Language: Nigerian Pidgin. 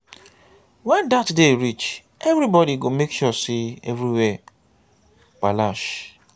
wen dat day reach evribody go make sure say everywhere palash